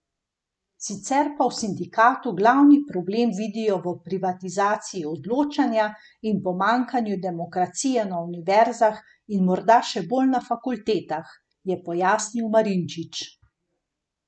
Sicer pa v sindikatu glavni problem vidijo v privatizaciji odločanja in pomanjkanju demokracije na univerzah in morda še bolj na fakultetah, je pojasnil Marinčič.